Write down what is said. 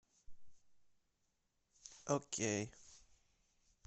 окей